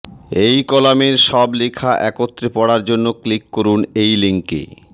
এই কলামের সব লেখা একত্রে পড়ার জন্য ক্লিক করুন এই লিংকে